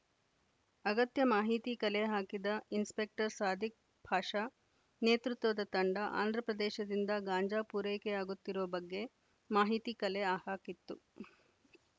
ಅಗತ್ಯ ಮಾಹಿತಿ ಕಲೆ ಹಾಕಿದ ಇನ್ಸ್‌ಪೆಕ್ಟರ್‌ ಸಾದಿಕ್‌ ಪಾಷಾ ನೇತೃತ್ವದ ತಂಡ ಆಂಧ್ರಪ್ರದೇಶದಿಂದ ಗಾಂಜಾ ಪೂರೈಕೆಯಾಗುತ್ತಿರುವ ಬಗ್ಗೆ ಮಾಹಿತಿ ಕಲೆ ಹಾ ಹಾಕಿತ್ತು